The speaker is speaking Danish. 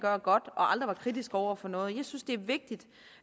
var godt og aldrig var kritiske over for noget jeg synes det er vigtigt